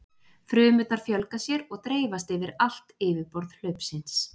frumurnar fjölga sér og dreifast yfir allt yfirborð hlaupsins